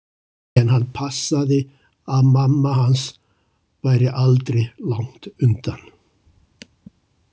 En hann passaði að mamma hans væri aldri langt undan.